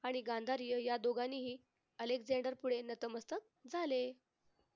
आणि गांधार्य या दोघांनीही अलेकझांडर पुढे नतमस्तक झाले.